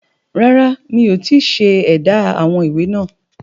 Rárá mi ò tíì ṣe édá àwọn ìwé náà